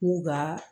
K'u ka